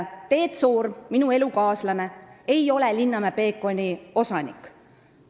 Teet Soorm, minu elukaaslane, ei ole Linnamäe Peekoni osanik.